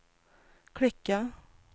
klicka